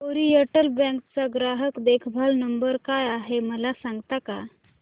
oriental Bank चा ग्राहक देखभाल नंबर काय आहे मला सांगता का